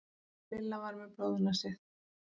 Lilla var með blóðnasir